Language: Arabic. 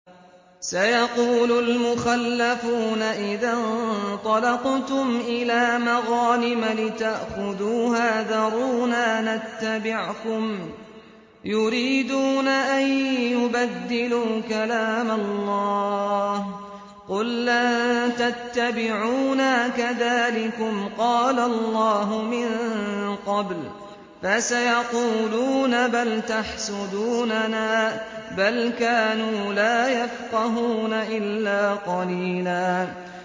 سَيَقُولُ الْمُخَلَّفُونَ إِذَا انطَلَقْتُمْ إِلَىٰ مَغَانِمَ لِتَأْخُذُوهَا ذَرُونَا نَتَّبِعْكُمْ ۖ يُرِيدُونَ أَن يُبَدِّلُوا كَلَامَ اللَّهِ ۚ قُل لَّن تَتَّبِعُونَا كَذَٰلِكُمْ قَالَ اللَّهُ مِن قَبْلُ ۖ فَسَيَقُولُونَ بَلْ تَحْسُدُونَنَا ۚ بَلْ كَانُوا لَا يَفْقَهُونَ إِلَّا قَلِيلًا